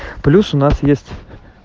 плюс у нас есть